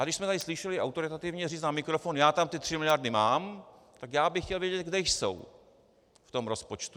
Ale když jsme tady slyšeli autoritativně říct na mikrofon "já tam ty tři miliardy mám", tak já bych chtěl vědět, kde jsou v tom rozpočtu.